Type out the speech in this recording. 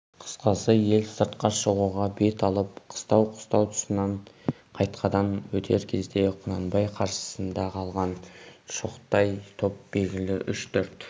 қысқасы ел сыртқа шығуға бет алып қыстау-қыстау тұсынан қайтадан өтер кезде құнанбай қарсысында қалған шоқтай топ белгілі үш-төрт